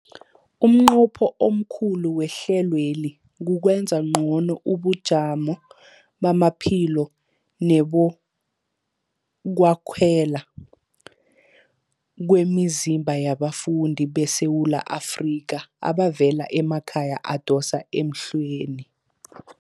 Umnqopho omkhulu wehlelweli kukwenza ngcono ubujamo bamaphilo nebokwakhela kwemizimba yabafundi beSewula Afrika abavela emakhaya adosa emhlweni.